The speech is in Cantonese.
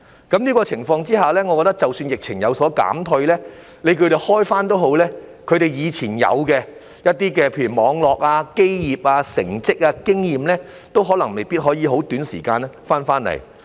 在這樣的情況下，我認為即使疫情有所減退，公司可以復業也好，以往它們擁有的生意網絡、基業、成績、經驗都未必可以在短時間內重回昔日光景。